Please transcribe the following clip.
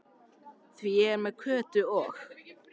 Því ég er með Kötu og